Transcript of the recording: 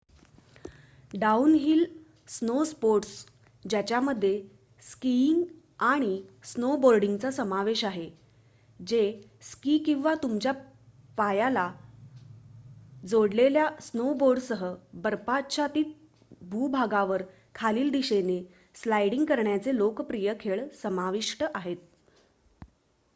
downhill snow sports ज्यामध्ये skiing आणि स्नोबोर्डिंगचा समावेश आहे जे स्की किंवा तुमच्या पायाला जोडलेल्या स्नोबोर्डसह बर्फाच्छादित भूभागावर खालील दिशेने स्लाइडिंग करण्याचे लोकप्रिय खेळ समाविष्ट आहेत